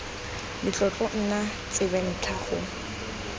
le tlotlo nna tsebentlha go